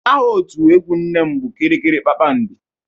Aha otu egwu nne m bụ kiriri kpakpando